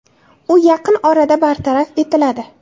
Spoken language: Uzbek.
U yaqin orada bartaraf etiladi.